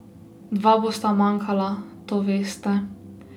Dva bosta manjkala, to veste ...